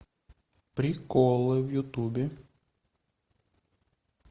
приколы в ютубе